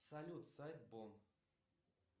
салют сайт бон